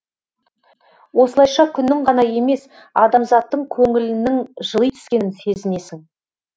осылайша күннің ғана емес адамзаттың көңілінің жыли түскенін сезінесің